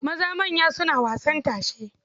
Maza manya suna wasan tashe.